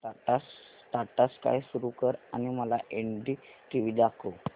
Tata Sky सुरू कर आणि मला एनडीटीव्ही दाखव